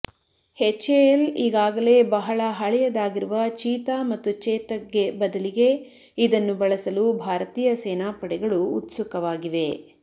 HAL ಈಗಾಗಲೇ ಬಹಳ ಹಳೆಯದಾಗಿರುವ ಚೀತಾ ಮತ್ತು ಚೇತಕ್ಗೆ ಬದಲಿಗೆ ಇದನ್ನು ಬಳಸಲು ಭಾರತೀಯ ಸೇನಾ ಪಡೆಗಳು ಉತ್ಸುಕವಾಗಿವೆ